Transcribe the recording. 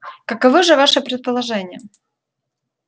каковы же ваши предположения